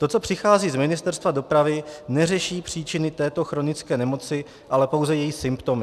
To, co přichází z Ministerstva dopravy, neřeší příčiny této chronické nemoci, ale pouze její symptomy.